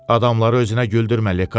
Adamları özünə güldürmə Ledi.